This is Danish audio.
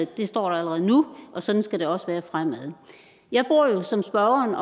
det står der allerede nu og sådan skal det også være fremadrettet jeg bor jo som spørgeren